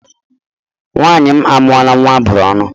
Nwanyị m amuru nwa a bụrụ ọnụ